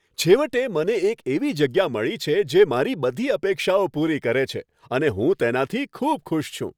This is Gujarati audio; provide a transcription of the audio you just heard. છેવટે, મને એક એવી જગ્યા મળી છે જે મારી બધી અપેક્ષાઓ પૂરી કરે છે અને હું તેનાથી ખૂબ ખુશ છું.